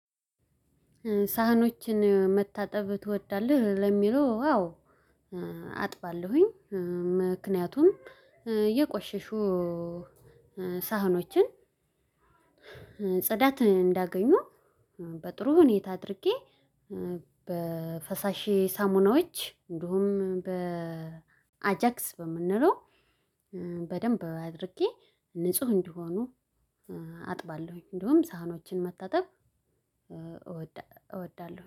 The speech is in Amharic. ሳህኖችን መታጠብ ትወዳለህ? ለሚለው አዎ አጥባለሁኝ። ምክንያቱም የቆሸሹ ሳህኖችን ጽዳት እንዳያገኙ በጥሩ ሁኔታ አድርጌ በፈሳሼ ሳሙናዎች እንዲሁም በ አጃክስ በምንለው በደንብ አድርጌ ንጹህ እንዲሆኑ አጥባለሁኝ። እንዲሁም ሳህኖችን መታጠብ እወዳለሁ